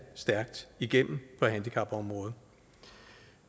stærkt igennem på handicapområdet